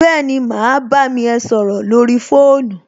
Béèni, mà á bámi ẹ sọrọ lórí fóònù